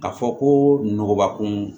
A fɔ ko nɔgɔbakun